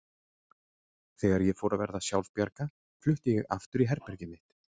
Þegar ég fór að verða sjálfbjarga flutti ég aftur í herbergið mitt.